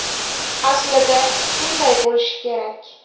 Aslida shunday bo‘lishi kerak.